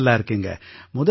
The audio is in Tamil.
நான் நல்லா இருக்கேங்க